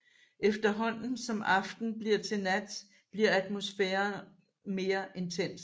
Efterhånden som aften bliver til nat bliver atmosfæren mere intens